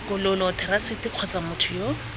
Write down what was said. tokololo therasete kgotsa motho yo